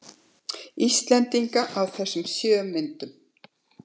Íslendinga í þessum sjö myndum.